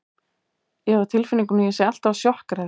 Ég hef á tilfinningunni að ég sé alltaf að sjokkera þig.